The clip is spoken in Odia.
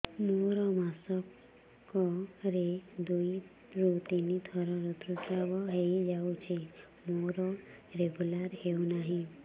ମୋର ମାସ କ ରେ ଦୁଇ ରୁ ତିନି ଥର ଋତୁଶ୍ରାବ ହେଇଯାଉଛି ମୋର ରେଗୁଲାର ହେଉନାହିଁ